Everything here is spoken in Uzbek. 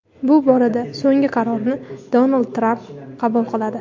Bu borada so‘nggi qarorni Donald Tramp qabul qiladi.